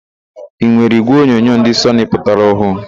Ị nwere ígwèonyonyo ndị Sọnị pụtara ọhụụ?